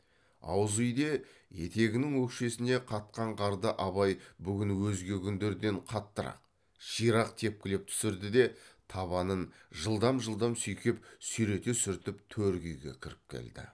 ауыз үйде етегінің өкшесіне қатқан қарды абай бүгін өзге күндерден қаттырақ ширақ текпілеп түсірді де табанын жылдам жылдам сүйкеп сүйрете сүртіп төргі үйге кіріп келді